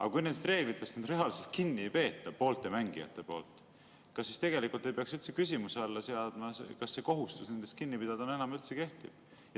Aga kui nendest reeglitest reaalselt pooled mängijad kinni ei pea, siis kas ei peaks küsimuse alla seadma, kas see kohustus nendest kinni pidada üldse enam kehtib.